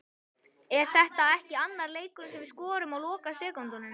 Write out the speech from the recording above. Er þetta ekki annar leikurinn sem við skorum á lokasekúndunum?